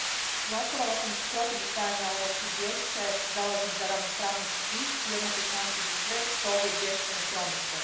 Gospođo predsjednice, glasovala sam protiv usvajanja ovog izvješća jer se zalažem za ravnopravnost svih i jednake šanse za sve što ovo izvješće ne promiče.